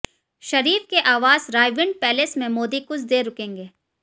शरीफ के आवास रायविंड पैलेस में मोदी कुछ देर रुकेंगे